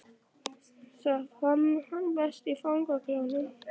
Það fann hann best í fangaklefanum.